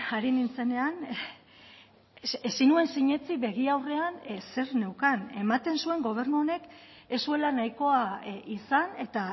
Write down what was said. ari nintzenean ezin nuen sinetsi begi aurrean zer neukan ematen zuen gobernu honek ez zuela nahikoa izan eta